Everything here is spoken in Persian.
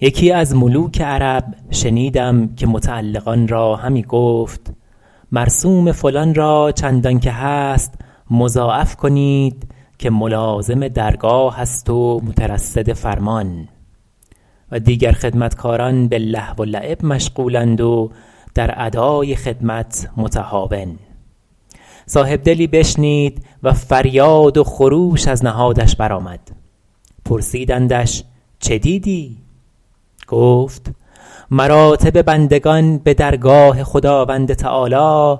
یکی از ملوک عرب شنیدم که متعلقان را همی گفت مرسوم فلان را چندان که هست مضاعف کنید که ملازم درگاه است و مترصد فرمان و دیگر خدمتکاران به لهو و لعب مشغول اند و در ادای خدمت متهاون صاحب دلی بشنید و فریاد و خروش از نهادش بر آمد پرسیدندش چه دیدی گفت مراتب بندگان به درگاه خداوند تعالیٰ